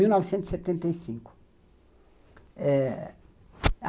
Mil novecentos e setenta e cinco. Eh